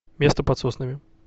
место под соснами